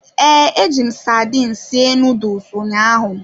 Ee, eji m sardine sie nuduls ahu.